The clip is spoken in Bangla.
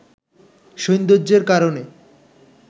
সৌন্দর্যের কারণে